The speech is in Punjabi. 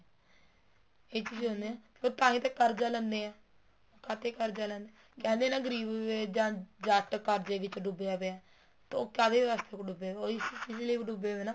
ਇਹ ਚੀਜ਼ ਹੁੰਦੀ ਆ ਤਾਹੀ ਤਾਂ ਉਹ ਕਰਜਾ ਲੈਣੇ ਏ ਖਾਤੇ ਕਰਜਾ ਲੈਂਦੇ ਏ ਕਹਿੰਦੇ ਹੈ ਨਾ ਗਰੀਬ ਵੇ ਜੱਟ ਕਰਜੇ ਵਿੱਚ ਡੁੱਬਿਆ ਪਿਆ ਹੈ ਤੋ ਉਹ ਕਾਹਦੇ ਵਾਸਤੇ ਡੁੱਬਿਆ ਪਿਆ ਹੈ ਉਹ ਇਸ ਚੀਜ਼ ਲਈ ਡੁੱਬਿਆ ਪਿਆ ਹੈ